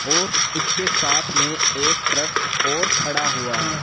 और इसके साथ में एक ट्रक और खड़ा हुआ है।